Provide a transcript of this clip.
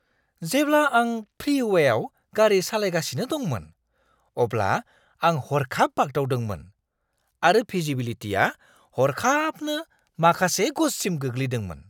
जेब्ला आं फ्रीवेआव गारि सालायगासिनो दंमोन अब्ला आं हरखाब बाग्दावदोंमोन आरो भिजिबिलिटिआ हरखाबनो माखासे गजसिम गोग्लैदोंमोन।